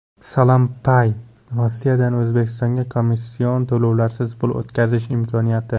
SalamPay – Rossiyadan O‘zbekistonga komission to‘lovlarsiz pul o‘tkazish imkoniyati.